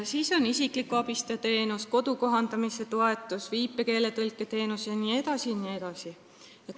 On olemas isikliku abistaja teenus, kodu kohandamise toetus, viipekeele tõlketeenus jne.